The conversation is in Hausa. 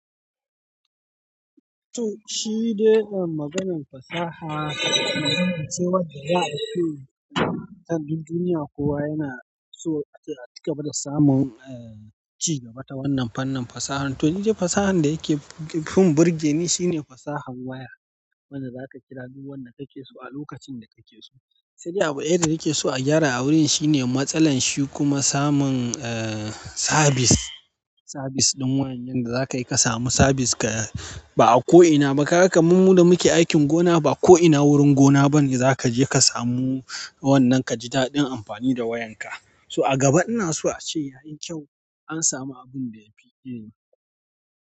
To shi dai maganan fasaha, cewa da za a so, duk duniya kowa yana so ake aci gaba da samun eh ci gaba ta wannan fannin fasahar. To dai fasahar da yake fim birgeni shine fasahar waya. Wadda za ka kira duk wanda kake so a lokacin da kake so. Sai dai abu ɗaya da nake so a gyara a wurin shine matsalar shi kuma samun eh sabis, sabis ɗin wayan yanda za ka yi ka samu sabis ka ba a ko ina ba. Kaga kamar mu da muke aikin gona, ba ko ina wurin gona bane za ka je ka samu wannan ka ji daɗin amfani da wayanka. So a gaba ina so a ce yayi kyau ah. An samu abun da ya fi ɗini.